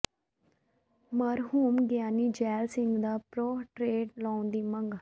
ਮਰਹੂਮ ਗਿਆਨੀ ਜ਼ੈਲ ਸਿੰਘ ਦਾ ਪੋਰਟਰੇਟ ਲਾਉਣ ਦੀ ਮੰਗ